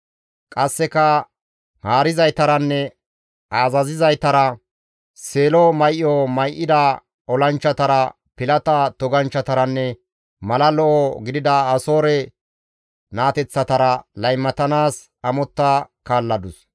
Qasseka haarizaytaranne azazizaytara, seelo may7o may7ida olanchchatara, pilata toganchchataranne mala lo7o gidida Asoore naateththatara laymatanaas amotta kaalladus.